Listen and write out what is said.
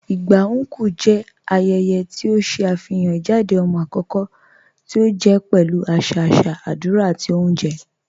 Igba Nkwu jẹ ayẹyẹ̀ ti o ṣe afihàn ijádẹ̀ ọmọ akọkọ̀ ti o jẹ pẹ̀lú aṣa aṣa, adúrà, àti ọ̀unjẹ́.